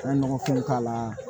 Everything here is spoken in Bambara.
N ye nɔgɔfin k'a la